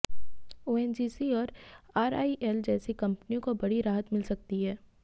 ONGC और RIL जैसी कंपनियों को बड़ी राहत मिल सकती है